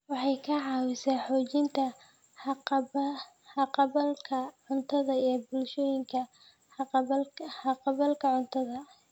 Waxay ka caawisaa xoojinta haqab-beelka cuntada ee bulshooyinka haqab-beelka cuntada.